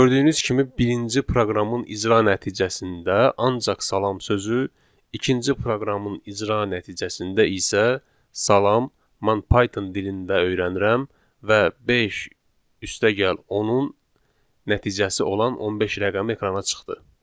Gördüyünüz kimi birinci proqramın icra nəticəsində ancaq salam sözü, ikinci proqramın icra nəticəsində isə salam, mən Python dilində öyrənirəm və beş üstəgəl 10-un nəticəsi olan 15 rəqəmi ekrana çıxdı.